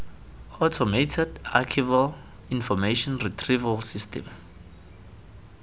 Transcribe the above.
automated archival information retrieval system